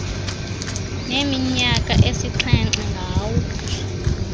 neminyaka esixhenxe ngawo